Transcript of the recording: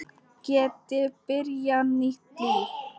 Geti byrjað nýtt líf.